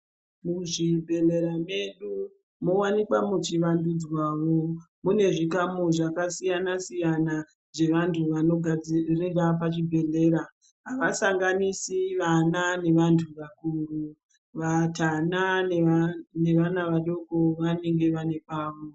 Muzvibhedhlera medu mowanikwa muchiwandudzwawo, mune zvikamu zvevanhu vakasiyana siyana zvevantu vanogadzirira pachibhedhleya, avasanganisi vana nekurumba, vatana nevana vadoko vanenge vane pavo.